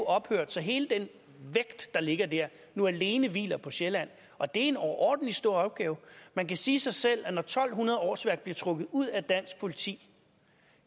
ophørt så hele den vægt der ligger der nu alene hviler på sjælland og det er en overordentlig stor opgave man kan sige sig selv at når to hundrede årsværk bliver trukket ud af dansk politi